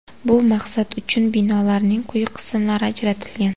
Bu maqsad uchun binolarning quyi qismlari ajratilgan.